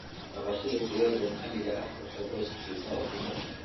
Dhaqashada digaaga maxaliga ahi waxay qoyska siisaa ukumo.